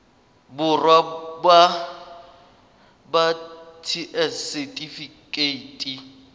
borwa ba ba ts setifikeite